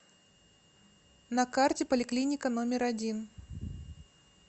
на карте поликлиника номер один